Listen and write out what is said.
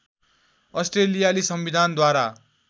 अस्ट्रेलियाली संविधानद्वारा